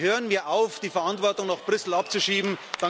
Also, hören wir auf, die Verantwortung noch Brüssel abzuschieben!